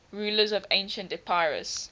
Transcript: rulers of ancient epirus